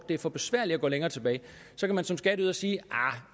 det er for besværligt at gå længere tilbage så kan man som skatteyder sige